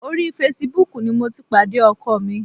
Orí Facebook ni mo ti pàdé ọkọ mi.